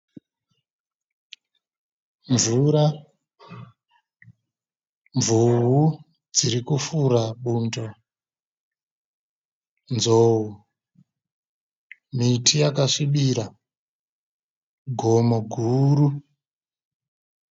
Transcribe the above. Mvura, mvuvu dzirikufura bundo, nzou, miti yakasvibira, gomo guru.